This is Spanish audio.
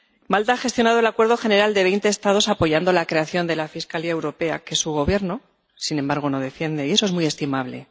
Malta ha gestionado el acuerdo general de veinte Estados apoyando la creación de la Fiscalía Europea, que su Gobierno, sin embargo no defiende, y eso es muy estimable.